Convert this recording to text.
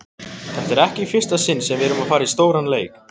Þetta er ekki í fyrsta sinn sem við erum að fara í stóran leik.